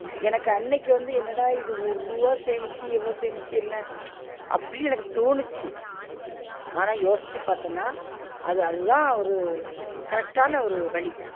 எனக்கு அன்னைக்கு வந்து என்னடா இது ஒரு ருவா சேமிச்சு, எவ்ளோ சேமிச்சு என்ன? உச் அப்டின்னு எனக்கு தோணுச்சு ஆனா யோசிச்சு பாத்தன்னா அது அது தான் ஒரு correct ஆன ஒரு வழி